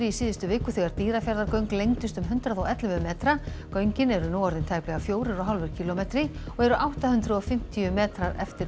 í síðustu viku þegar Dýrafjarðargöng lengdust um hundrað og ellefu metra göngin eru nú orðin tæplega fjórir og hálfur kílómetri og eru átta hundruð og fimmtíu metrar eftir